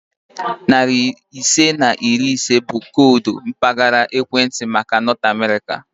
Narị isii na iri ise bụ koodu mpaghara ekwentị maka Nọt Amerịka